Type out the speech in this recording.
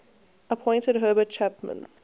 appointed herbert chapman